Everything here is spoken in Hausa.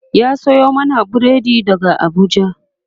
ya Sayo mana burodi daga Abuja